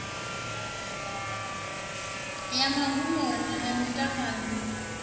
ya magumoni a mitaladzi abab